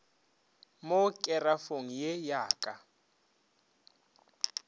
mo kerafong ye ya ka